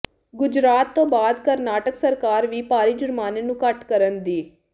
ਗੁਜਰਾਤ ਤੋਂ ਬਾਅਦ ਕਰਨਾਟਕ ਸਰਕਾਰ ਵੀ ਭਾਰੀ ਜੁਰਮਾਨੇ ਨੂੰ ਘੱਟ ਕਰਨ ਦੀ ਤ